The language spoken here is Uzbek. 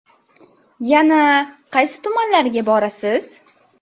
Yana qaysi tumanlarga borasiz?